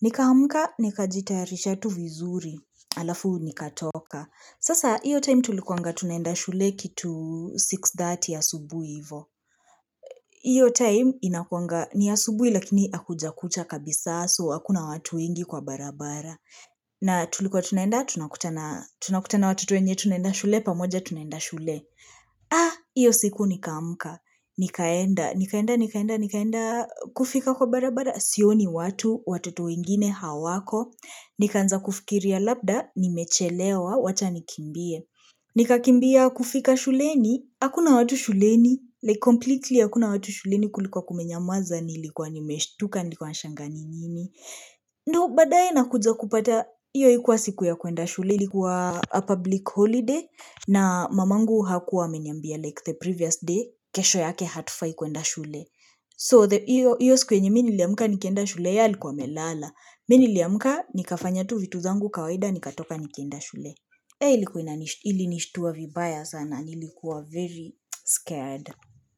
Nikaamka, nikajita ya risha tu vizuri, alafu nikatoka. Sasa, hiyo time tulikuanga tunaenda shule kitu 6.30 ya asubuhi hivo. hIyo time inakuanga, ni ya subuhi lakini akujakucha kabisa so, hakuna watu wengi kwa barabara. Na tulikuwa tunaenda, tunakutana watoto wenye tunaenda shule, pamoja tunaenda shule. Ah, hiyo siku nikaamka, nikaenda, nikaenda, nikaenda, nikaenda, kufika kwa barabara. Siyo ni watu, watutu wengine, hawako. Nikaanza kufikiria labda, nimechelewa, wacha nikimbie. Nika kimbia kufika shuleni, hakuna watu shuleni. Like, completely hakuna watu shuleni kulikuwa kumenyamuaza, nilikuwa nimeshtuka, nikuwa nashanga nini. Ndo baadae na kuja kupata hIyo haikuwa siku ya kuenda shule Ilikuwa public holiday na mamangu hakuwa niambia like the previous day kesho yake hatufai kuenda shule So hiyo siku yenye niliamka nikienda shule yeye alikuwa amelala Mimi niliamka nikafanya tu vitu zangu kawaida nikatoka nikienda shule Hei ili nishtuwa vibaya sana nilikuwa very scared.